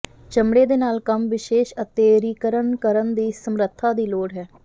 ਚਮੜੇ ਦੇ ਨਾਲ ਕੰਮ ਵਿਸ਼ੇਸ਼ ਅਤੇਅਿਰੀਕਨ ਕਰਨ ਦੀ ਸਮਰੱਥਾ ਦੀ ਲੋੜ ਹੈ